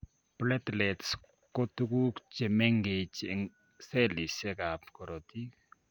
Platelets koo tuguk chemengech eng cellisiek ab korotik